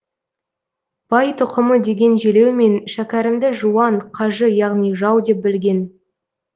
бай тұқымы деген желеумен шәкәрімді жуан қажы яғни жау деп білген